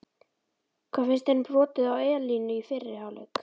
Hvað finnst þér um brotið á Elínu í fyrri hálfleik?